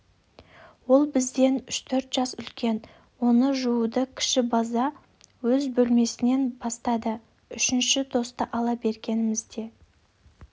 ол бізден үш-төрт жас үлкен оны жууды кіші бажа өз бөлмесінен бастады үшінші тосты ала бергенімізде